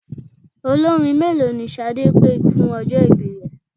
Olórin mélòó ni Ṣadé pé fún ọjọ́ ìbí rẹ?